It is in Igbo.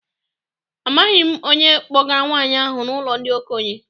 Amaghị m onye kpọgara nwaanyị ahụ n'ụlọ ndị okenye.